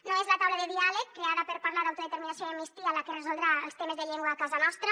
no és la taula de diàleg creada per parlar d’autodeterminació i amnistia la que resoldrà els temes de llengua a casa nostra